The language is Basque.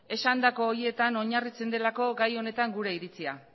esandako horietan oinarritzen delako gai honetan gure iritzia